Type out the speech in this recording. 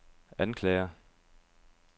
anklager